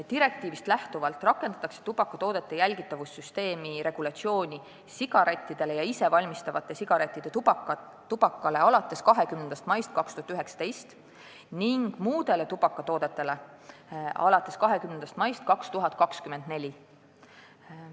Direktiivist lähtuvalt rakendatakse tubakatoodete jälgitavuse süsteemi regulatsiooni sigarettidele ja isevalmistatavate sigarettide tubakale alates 20. maist 2019 ning muudele tubakatoodetele alates 20. maist 2024.